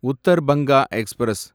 Uttar Banga express